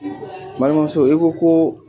N balimamuso i ko koo